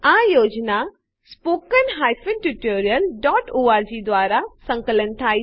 આ યોજના httpspoken tutorialorg દ્વારા અનુબદ્ધ છે